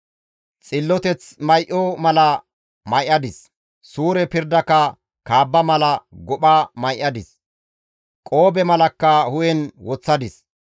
Xilloteth may7o mala may7adis; suure pirdaka kaabba mala gopha may7adis; qoobe malakka hu7en woththadis.